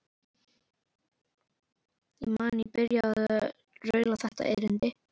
Ég man að ég byrjaði á að raula þetta erindi: